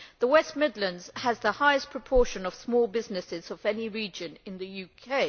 The West Midlands has the highest proportion of small businesses of any region in the UK.